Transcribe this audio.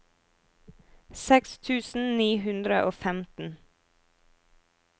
seks tusen ni hundre og femten